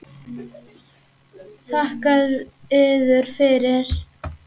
Þakka yður fyrir.